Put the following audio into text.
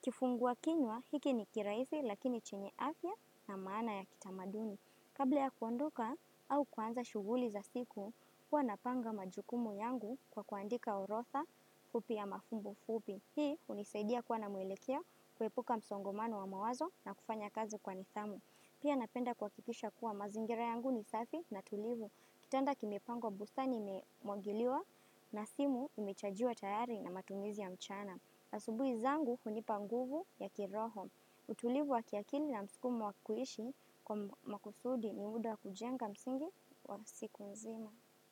Kifungua kinywa, hiki ni kiraisi lakini chenye afya na maana ya kitamaduni. Kabla ya kuondoka au kuanza shuguli za siku, huwa napanga majukumu yangu kwa kuandika orotha fupi ya mafumbo fupi. Hii unisaidia kuwa na mwelekeo kuepuka msongomano wa mawazo na kufanya kazi kwa nithamu. Pia napenda kua kikisha kuwa mazingira yangu ni safi na tulivu. Kitanda kimipango bustani imemwagiliwa na simu imechajiwa tayari na matumizi ya mchana. Asubui zangu hunipa nguvu ya kiroho. Utulivu wa kiakili na mskumo wa kuishi kwa makusudi ni muda kujenga msingi wa siku mzima.